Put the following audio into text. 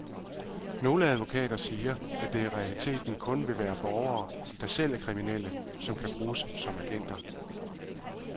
Nogle advokater siger, at det i realiteten kun vil være borgere, der selv er kriminelle, som kan bruges som agenter.